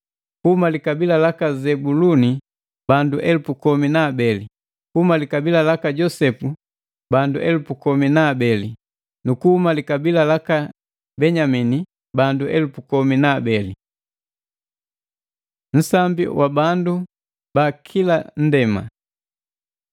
kuhuma likabila laka Zebuluni bandu elupu komi na abeli, kuhuma likabila laka Josepu bandu elupu komi na abeli nu kuhuma likabila laka Benyamini bandu elupu komi na abeli. Nsambi wa bandu ba kila nndema